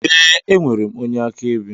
Ee, enwere m onye akaebe